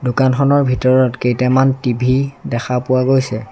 দোকানখনৰ ভিতৰত কেইটামান টি_ভি দেখা পোৱা গৈছে।